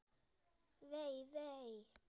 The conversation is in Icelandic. Vei, vei.